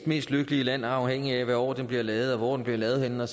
næstlykkeligste land afhængigt af hvilket år de bliver lavet hvor de bliver lavet henne